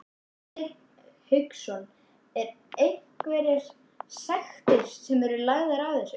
Hafsteinn Hauksson: Er einhverjar sektir sem eru lagðar við þessu?